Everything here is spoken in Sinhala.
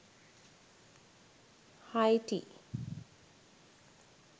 haiti